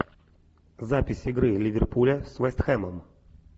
запись игры ливерпуля с вест хэмом